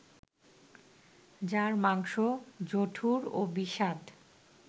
যার মাংস জঠুর ও বিস্বাদ